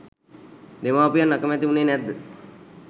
දෙමාපියන් අකමැති වුණේ නැද්ද?